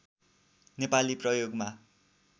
नेपाली प्रयोगमा